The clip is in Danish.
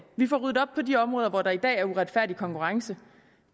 vi får ryddet op på de områder hvor der i dag er uretfærdig konkurrence